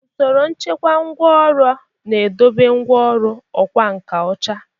Usoro nchekwa ngwá ọrụ na-edobe ngwá ọrụ ọkwá nkà ocha.